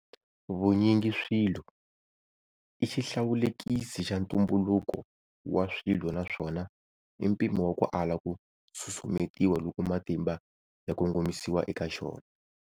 Vunyingiswilo i xihlawulekisi xa ntumbuluko wa swilo naswona i mpimo wa ku ala ku susumetiwa loko matimba ya kongomisiwa eka xona.